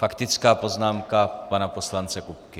Faktická poznámka pana poslance Kupky.